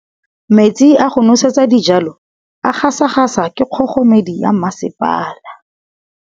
Metsi a go nosetsa dijalo a gasa gasa ke kgogomedi ya masepala.